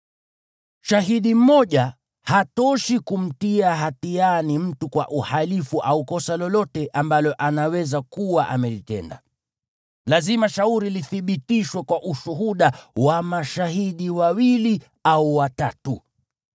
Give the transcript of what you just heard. Shahidi mmoja hatoshi kumtia hatiani mtu kwa uhalifu au kosa lolote ambalo anaweza kuwa amelitenda. Lazima shauri lolote lithibitishwe kwa ushuhuda wa mashahidi wawili au watatu.